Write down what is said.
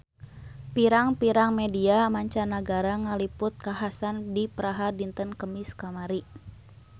Pirang-pirang media mancanagara ngaliput kakhasan di Praha dinten Kemis kamari